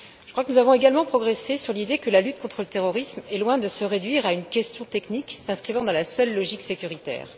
Je crois que nous avons également progressé sur l'idée que la lutte contre le terrorisme est loin de se réduire à une question technique s'inscrivant dans la seule logique sécuritaire.